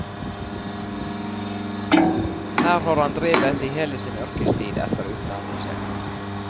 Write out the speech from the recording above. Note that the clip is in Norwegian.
Her har han drevet i hele sin yrkestid etter utdannelse.